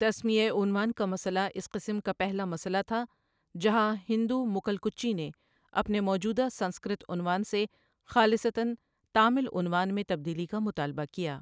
تسمیۂ عنوان کا مسئلہ اس قسم کا پہلا مسئلہ تھا، جہاں ہندو مکل کچی نے اپنے موجودہ سنسکرت عنوان سے خالصتاً تامل عنوان میں تبدیلی کا مطالبہ کیا۔